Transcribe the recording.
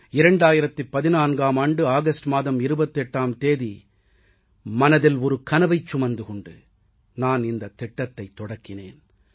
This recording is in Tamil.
2014ஆம் ஆண்டு ஆகஸ்ட் மாதம் 28ஆம் தேதி மனதில் ஒரு கனவைச் சுமந்து கொண்டு நான் இந்தத் திட்டத்தைத் தொடக்கினேன்